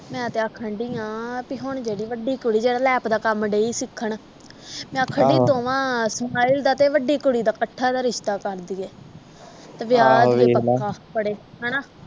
ਮੈਂ ਤੇ ਆਖਣ ਡਈ ਆਂ ਬੀ ਹੁਣ ਜਿਹੜੀ ਵੱਡੀ ਕੁੜੀ ਜਿਹੜੀ ਲੈਪ ਦਾ ਕੰਮ ਡਈ ਸਿੱਖਣ ਮੈਂ ਆਖਣ ਡਈ ਦੋਵਾਂ ਸਮਾਇਲ ਦਾ ਤੇ ਵੱਡੀ ਕੁੜੀ ਦਾ ਇਕੱਠਿਆਂ ਦਾ ਰਿਸ਼ਤਾ ਕਰ ਦੇਈਏ ਤੇ ਵਿਆਹ